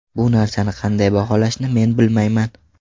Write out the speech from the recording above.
Bu narsani qanday baholashni men bilmayman.